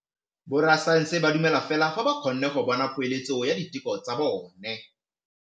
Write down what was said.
Borra saense ba dumela fela fa ba kgonne go bona poeletsô ya diteko tsa bone.